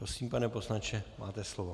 Prosím, pane poslanče, máte slovo.